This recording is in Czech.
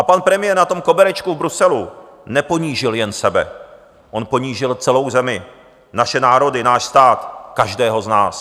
A pan premiér na tom koberečku v Bruselu neponížil jen sebe, on ponížil celou zemi, naše národy, náš stát, každého z nás.